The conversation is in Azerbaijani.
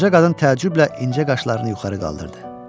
Qoca qadın təəccüblə incə qaşlarını yuxarı qaldırdı.